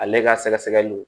Ale ka sɛgɛsɛgɛliw